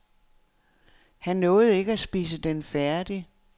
Han nåede ikke at spise den færdig.